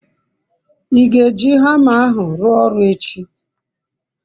I ga-eji hama ahu rua oru echi?